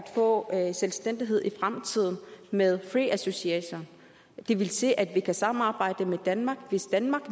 få selvstændighed i fremtiden med free association det vil sige at vi kan samarbejde med danmark hvis danmark